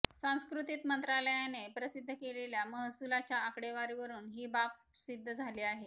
सांस्कृतिक मंत्रालयाने प्रसिद्ध केलेल्या महसुलाच्या आकडेवारीवरून ही बाब सिद्ध झाली आहे